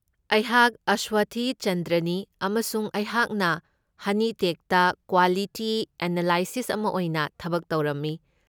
ꯑꯩꯍꯥꯛ ꯑꯁꯋꯊꯤ ꯆꯟꯗ꯭ꯔꯅꯤ ꯑꯃꯁꯨꯡ ꯑꯩꯍꯥꯛꯅ ꯍꯅꯤꯇꯦꯛꯇ ꯀ꯭ꯋꯥꯂꯤꯇꯤ ꯑꯦꯅꯥꯂꯤꯁꯠ ꯑꯃ ꯑꯣꯏꯅ ꯊꯕꯛ ꯇꯧꯔꯝꯃꯤ꯫